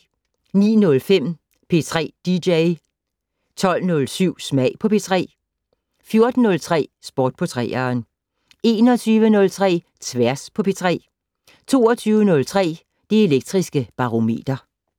09:05: P3 dj 12:07: Smag på P3 14:03: Sport på 3'eren 21:03: Tværs på P3 22:03: Det Elektriske Barometer